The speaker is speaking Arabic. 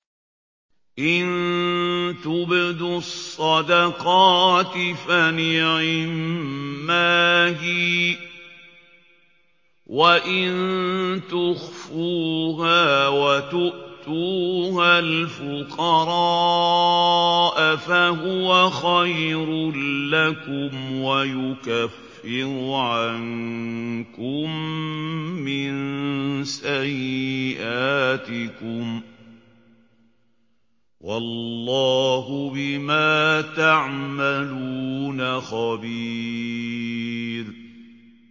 إِن تُبْدُوا الصَّدَقَاتِ فَنِعِمَّا هِيَ ۖ وَإِن تُخْفُوهَا وَتُؤْتُوهَا الْفُقَرَاءَ فَهُوَ خَيْرٌ لَّكُمْ ۚ وَيُكَفِّرُ عَنكُم مِّن سَيِّئَاتِكُمْ ۗ وَاللَّهُ بِمَا تَعْمَلُونَ خَبِيرٌ